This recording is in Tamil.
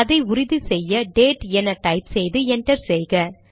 இதை உறுதி செய்ய டேட் என டைப் செய்து என்டர் செய்க